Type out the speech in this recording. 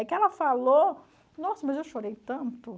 Aí que ela falou, nossa, mas eu chorei tanto.